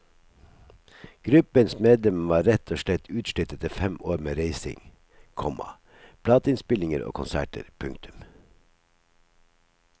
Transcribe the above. Gruppens medlemmer var rett og slett utslitt etter fem år med reising, komma plateinnspillinger og konserter. punktum